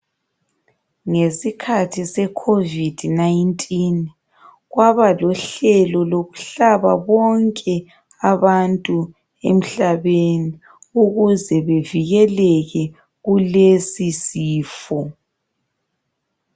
Ngesikhathi seCovid 19, kwaba lohlelo lokuhlaba bonke abantu emhlabeni ukuze bevikeleke kulesisifo.